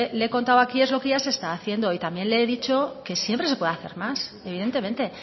le he contado aquí es lo que ya se está haciendo y también le he dicho que siempre se puede hacer más evidentemente